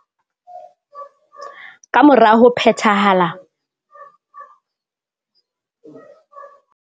Kamora ho phethela lengo lo la materiki